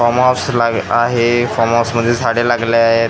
Form house आहे farm हाऊसमध्ये झाडे लागले आहेत .